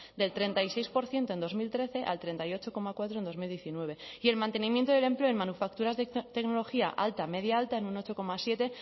del treinta y seis por ciento en dos mil trece al treinta y ocho coma cuatro en bi mila hemeretzi y el mantenimiento del empleo en manufacturas de tecnología alta media alta en un ocho coma siete